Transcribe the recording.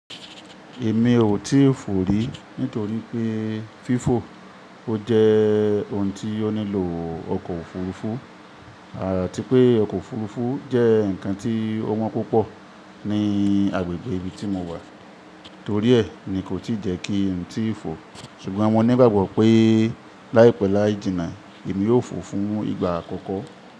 Èmi ò tíì fò rí nítorí pé fífò ó jẹ́ ohun tí ó nílò ọkọ̀ òfurufú àti pé ọkọ̀ òfurufú jẹ́ ǹkan tí ó wọ́n púpọ̀ ní agbègbè ibi tí mo wà. Torí ẹ́ ni kò tí jẹ́ kí ǹ tí fò. Ṣùgbọ́n mo nígbàgbọ́ pé láìpẹ́ láì jìnnà, èmi yóò fò fún ìgbà àkọ́kọ́